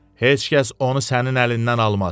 Heç kəs onu sənin əlindən almaz.